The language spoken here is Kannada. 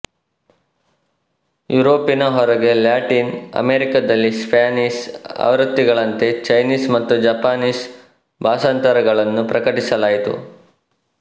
ಯುರೋಪಿನ ಹೊರಗೆ ಲ್ಯಾಟಿನ್ ಅಮೇರಿಕಾದಲ್ಲಿ ಸ್ಪ್ಯಾನಿಷ್ ಆವೃತ್ತಿಗಳಂತೆ ಚೈನೀಸ್ ಮತ್ತು ಜಪಾನೀಸ್ ಭಾಷಾಂತರಗಳನ್ನು ಪ್ರಕಟಿಸಲಾಯಿತು